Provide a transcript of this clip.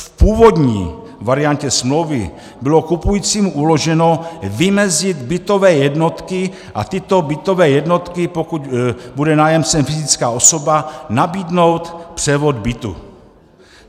V původní variantě smlouvy bylo kupujícímu uloženo vymezit bytové jednotky a tyto bytové jednotky, pokud bude nájemcem fyzická osoba, nabídnout převod bytu.